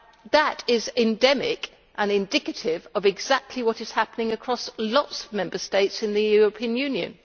That is endemic and indicative of exactly what is happening across lots of Member States in the European Union.